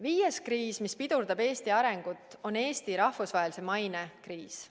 Viies kriis, mis pidurdab Eesti arengut, on Eesti rahvusvahelise maine kriis.